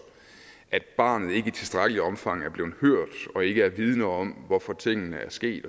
at barnet ikke i tilstrækkeligt omfang er blevet hørt og ikke er vidende om hvorfor tingene er sket